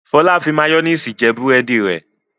Fọlá fi máyónísì jẹ búrẹ́dì rẹ̀.